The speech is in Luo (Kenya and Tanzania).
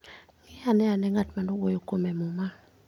Ng'iane ane ng'e ng'at ma ne owuoyo kuome e Muma.